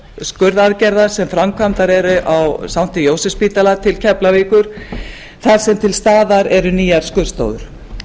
skurðaðgerða sem framkvæmdar eru á sankti jósefsspítala til keflavíkur þar sem til staðar eru nýjar skurðstofur